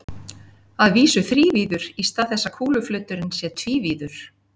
Að vísu þrívíður í stað þess að kúluflöturinn sé tvívíður.